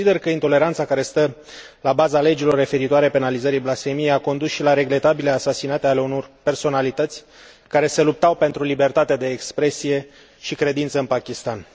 Consider că intoleranța care stă la baza legilor referitoare la penalizarea blasfemiei a condus și la regretabile asasinate ale unor personalități care se luptau pentru libertatea de expresie și credință în Pakistan.